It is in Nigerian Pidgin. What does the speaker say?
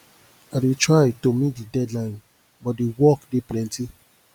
i dey try to meet di deadline but di work dey plenty